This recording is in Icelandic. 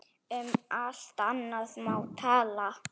Um allt annað má tala.